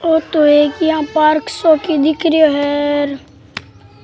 औ तो एक इया पार्क सो दिक् रो है र।